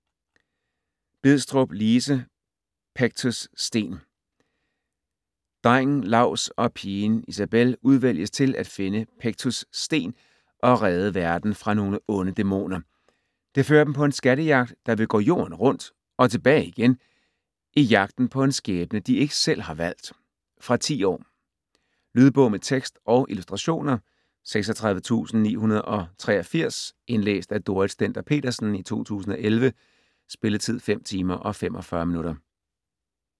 Bidstrup, Lise: Pectus' Sten Drengen Laus og pigen Isabell udvælges til at finde Pectus' Sten og redde verden fra nogle onde dæmoner. Det fører dem på en skattejagt der vil gå jorden rundt og tilbage igen, i jagten på en skæbne de ikke selv har valgt. Fra 10 år. Lydbog med tekst og illustrationer 36983 Indlæst af Dorrit Stender-Petersen, 2011. Spilletid: 5 timer, 45 minutter.